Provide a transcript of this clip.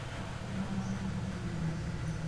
бірақ тырнақ астынан кір іздеген дұрыс емес